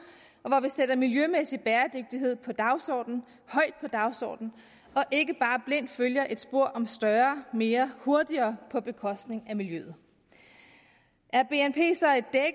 og hvor vi sætter miljømæssig bæredygtighed højt på dagsordenen og ikke bare blindt følger et spor om større mere hurtigere på bekostning af miljøet er bnp så